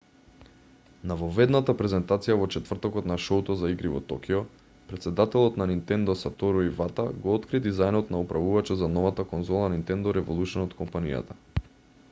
на воведната презентација во четвртокот на шоуто за игри во токио претседателот на nintendo сатору ивата го откри дизајнот на управувачот за новата конзола nintendo revolution од компанијата